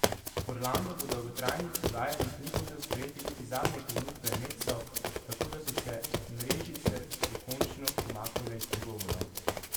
Orlando po dolgotrajnih pogajanjih ni hotel sprejeti niti zadnje ponudbe Netsov, tako da so se Mrežice dokončno umaknile iz pogovorov.